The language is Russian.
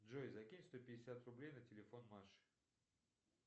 джой закинь сто пятьдесят рублей на телефон маши